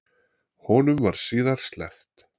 Honum var síðar sleppt.